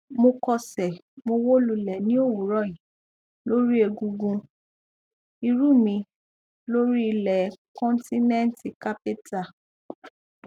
mo kọsẹ mo wó lulẹ ní òwúrọ yí lórí egungun ìrù mi lórí ilẹ kọńtínẹǹtì kápẹtà